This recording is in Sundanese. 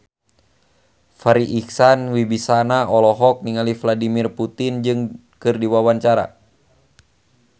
Farri Icksan Wibisana olohok ningali Vladimir Putin keur diwawancara